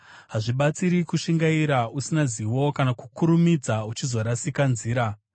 Hazvibatsiri kushingaira usina zivo, kana kukurumidza uchizorasika nzira.